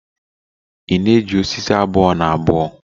ị na-eji osisi abuo-na-abuo?